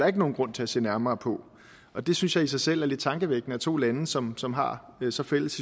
ikke nogen grund til at se nærmere på og det synes jeg i sig selv er lidt tankevækkende at to lande som som har så fælles